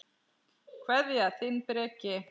Kveðja, þinn Breki.